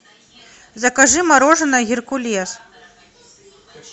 закажи мороженое геркулес